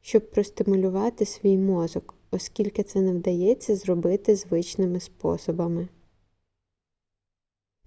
щоб простимулювати свій мозок оскільки це не вдається зробити звичними способами